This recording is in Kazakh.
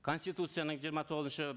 конституцияның жиырма тоғызыншы